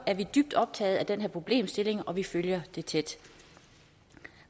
er dybt optaget af den her problemstilling og vi følger den tæt